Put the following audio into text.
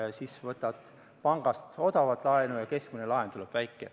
Ja siis võtad pangast odavalt laenu ja keskmine laen tuleb väike.